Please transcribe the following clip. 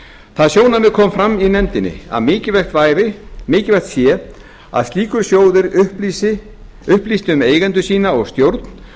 það sjónarmið kom fram í nefndinni að mikilvægt sé að slíkur sjóður upplýsti um eigendur sína og stjórn